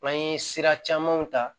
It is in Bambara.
N'an ye sira camanw ta